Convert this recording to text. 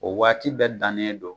O waati bɛ dan ne don